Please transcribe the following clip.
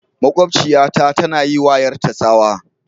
Makwabciyata tana yi wa 'yarta tsawa.